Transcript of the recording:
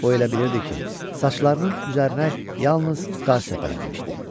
O elə bilirdi ki, saçlarının üzərinə yalnız qar səpələnmişdi.